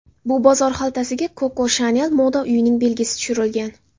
Bu bozor xaltasiga Koko Shanel moda uyining belgisi tushirilgan.